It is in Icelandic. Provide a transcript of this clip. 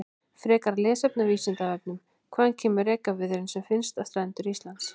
Frekara lesefni á Vísindavefnum: Hvaðan kemur rekaviðurinn sem finnst við strendur Íslands?